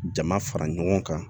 Jama fara ɲɔgɔn kan